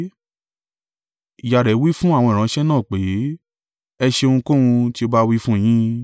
Ìyá rẹ̀ wí fún àwọn ìránṣẹ́ náà pé, “Ẹ ṣe ohunkóhun tí ó bá wí fún yín.”